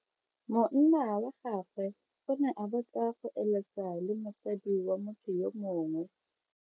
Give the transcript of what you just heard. Monna wa gagwe o ne a batla go eletsa le mosadi wa motho yo mongwe.